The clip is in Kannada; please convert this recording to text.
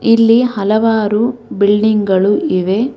ಇಲ್ಲಿ ಹಲವಾರು ಬಿಲ್ಡಿಂಗ್ ಗಳು ಇವೆ.